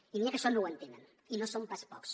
i n’hi ha que això no ho entenen i no són pas pocs